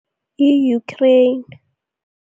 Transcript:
I-Ukraine.